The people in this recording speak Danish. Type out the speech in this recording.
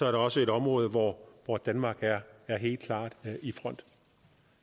er også et område hvor hvor danmark er helt klart i front